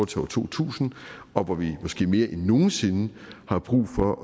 til år to tusind og hvor vi måske mere end nogen sinde har brug for